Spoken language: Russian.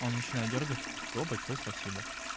он начинает дёргать всё большое спасибо